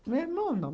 Meu irmão não.